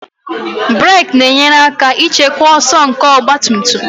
Brek na-enyere aka ịchịkwa ọsọ nke ọgba tum tum